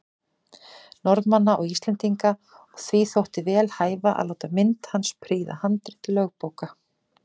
Norðmanna og Íslendinga, og því þótti vel hæfa að láta mynd hans prýða handrit lögbóka.